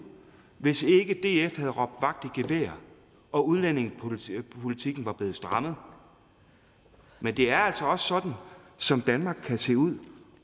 hvis ikke df havde råbt vagt i gevær og udlændingepolitikken blevet strammet men det er altså også sådan som danmark kan se ud